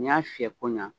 N'i y'a fiyɛ ko ɲa